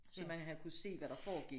Så man havde kunne se hvad der foregik